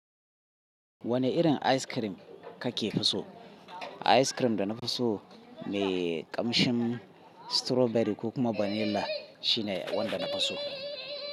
Wane irin ice cream kake fi so? Ice cream da na fi so me kamshin strawberry ko kuma vanilla shine wanda na fi so.